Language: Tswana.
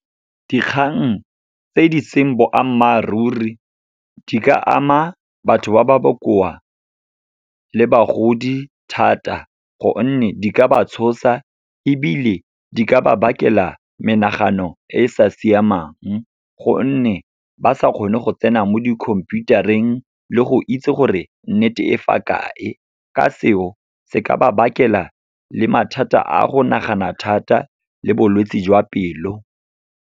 Dikgang tse di seng boammaaruri di ka ama batho ba ba bokoa le bagodi thata, gonne di ka ba tshosa ebile di ka ba bakela menagano e e sa siamang, gonne ba sa kgone go tsena mo dikhomphiutareng le go itse gore nnete e fa kae. Ka seo, se ka ba bakela le mathata a go nagana thata le bolwetsi jwa pelo.